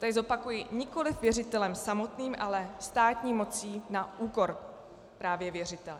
Tady zopakuji: nikoliv věřitelem samotným, ale státní mocí na úkor právě věřitele.